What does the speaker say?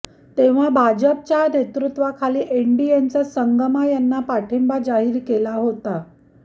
तेव्हा भाजपच्या नेतृत्वाखालील एनडीएनंच संगमा यांना पाठिंबा जाहीर केला होता